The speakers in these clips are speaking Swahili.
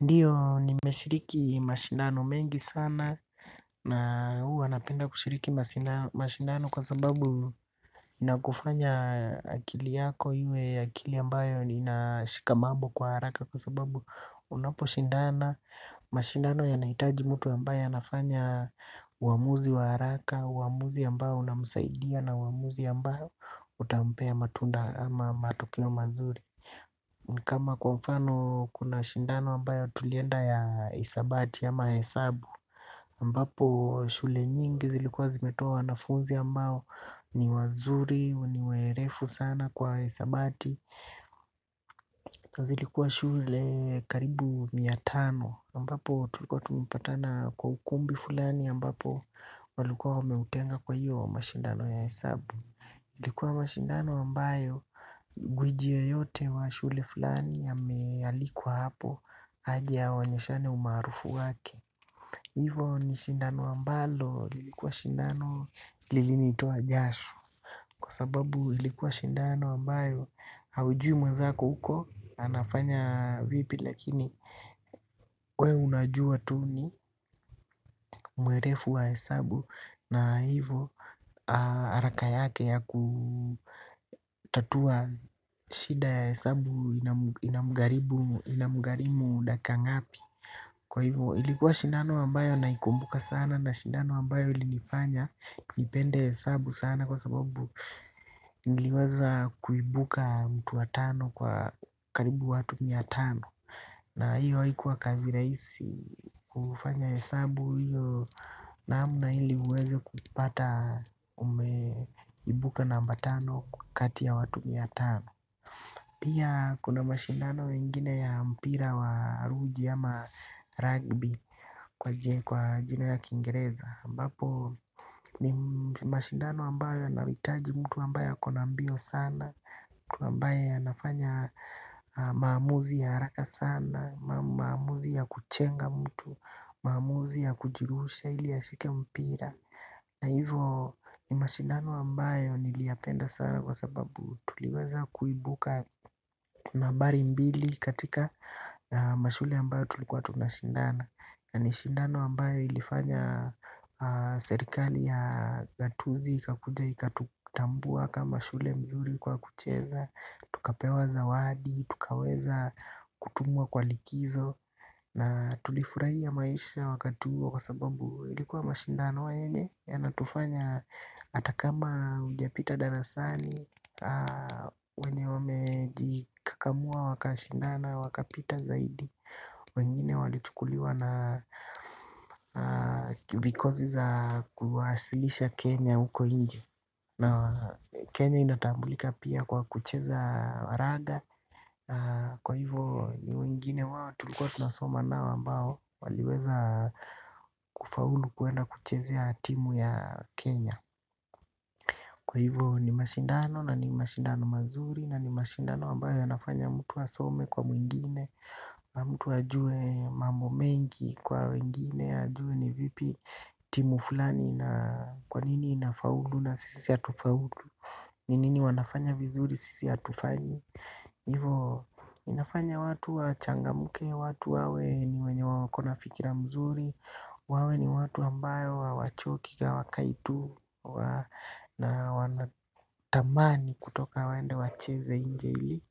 Ndiyo nimeshiriki mashindano mengi sana na huwa napenda kushiriki mashindano kwa sababu inakufanya akili yako iwe akili ambayo inashika mambo kwa haraka kwa sababu unapo shindana. Mashindano yanhaitaji mtu ambaye anafanya uamuzi wa haraka, uamuzi ambao unamsaidia na uamuzi ambao utampea matunda ama matokeo mazuri. Ni kama kwa mfano kuna mashindano ambayo tulienda ya hisabati ama hesabu ambapo shule nyingi zilikuwa zimetoa wanafunzi ambao ni wazuri ni werevu sana kwa hisabati. Zilikuwa shule karibu mia tano ambapo tulikuwa tumepatana kwa ukumbi fulani ambapo walikuwa wameutenga kwa hiyo mashindano ya hesabu. Ilikiwa mashindano ambayo gwiji yoyote wa shule fulani amealikwa hapo aje aonyeshane umaarufu wake. Hivo ni shindano ambalo lilikuwa shindano lilinitoa jasho. Kwa sababu ulikuwa shindano ambayo haujui mwazako huko anafanya vipi lakini we unajua tu ni mwerevu wa hesabu. Na hivyo haraka yake ya kutatua shida ya hesabu inamgharimu dakika ngapi. Kwa hivyo ilikuwa shindano ambayo naikumbuka sana na shindano ambayo ilinifanya nipende hesabu sana kwa sababu niliweza kuibuka mtu wa tano kwa karibu watu mia tano. Na hiyo haikuwa kazi rahisi kufanya hesabu hiyo naam na ili uweze kupata umeibuka namba tano kati ya watu mia tano. Pia kuna mashindano mengine ya mpira wa ruji ama rugby kwa jina ya kingereza. Mbapo ni mashindano ambayo yanahitaji mtu ambaye ako na mbio sana. Mtu ambaye anafanya maamuzi ya haraka sana, maamuzi ya kujenga mtu, maamuzi ya kujirusha ili ashike mpira. Na hivo ni mashindano ambayo niliyapenda sana kwa sababu tuliweza kuibuka nambari mbili katika mashule ambayo tulikuwa tunashindana. Na ni shindano ambayo ilifanya serikali ya gatuzi ikakuja ikatutambua kama shule nzuri kwa kucheza. Tukapewa zawadi, tukaweza kutumwa kwa likizo. Na tulifurahia maisha wakati huo kwa sababu ilikuwa mashindano yenye yanatufanya hata kama hujapita darasani. Wenye wamejikakamua wakashindana wakapita zaidi. Wengine walichukuliwa na vikosi za kuwasilisha Kenya uko inje Kenya inatambulika pia kwa kucheza wa raga. Kwa hivo ni wengine wao tulikuwa tunasoma nao ambao waliweza kufaulu kuenda kuchezea timu ya Kenya. Kwa hivo ni mashindano na ni mashindano mazuri na ni mashindano ambayo yanafanya mtu asome kwa mwingine. Mtu ajue mambo mengi kwa wengine, ajue ni vipi timu fulani na kwa nini ina faulu na sisi hatufaulu. Ni nini wanafanya vizuri sisi hatufanyi. Ivo inafanya watu wachangamke, watu wawe ni wenye wako na fikira mzuri. Wawe ni watu ambao hawachoki ka hawakai tu na wanatamani kutoka waende wacheze nje ili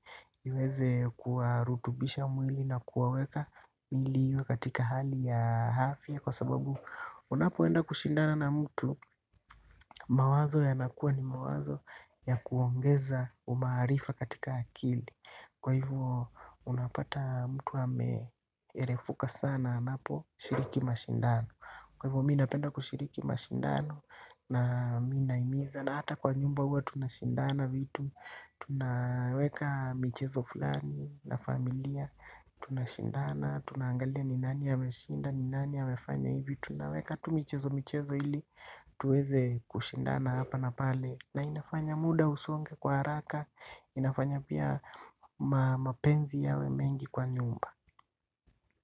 iweze kuwarutubisha mwili na kuwaweka mwili iwe katika hali ya afya kwa sababu unapoenda kushindana na mtu mawazo yanakuwa ni mawazo ya kuongeza umaarifa katika akili. Kwa hivyo unapata mtu ameerefuka sana anaposhiriki mashindano. Kwa hivyo mi napenda kushiriki mashindano. Na mi nahimiza na hata kwa nyumba huwa tunashindana vitu tunaweka michezo fulani na familia tunashindana tunaangalia ni nani ameshinda ni nani amefanya hivi tuweze kushindana hapa na pale. Na inafanya muda usonge kwa haraka, inafanya pia mapenzi yawe mengi kwa nyumba.